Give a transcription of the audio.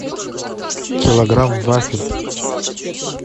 килограмм вафель